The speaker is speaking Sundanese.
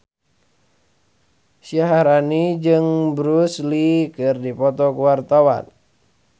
Syaharani jeung Bruce Lee keur dipoto ku wartawan